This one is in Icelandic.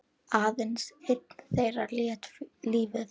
Aðeins einn þeirra lét lífið.